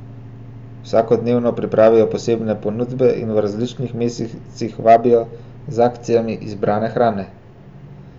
Vsakodnevno pripravijo posebne ponudbe in v različnih mesecih vabijo z akcijami izbrane hrane.